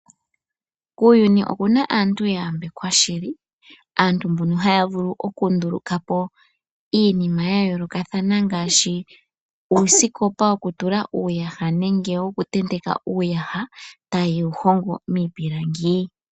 Kuuyuni okuna aantu ya yambekwa shili. Aantu mbono haya vulu okunduluka po iinima yayoolokathana ngaashi uusikopa woku tula nenge woku tenteka uuyaha taye wu hongo miipilangi.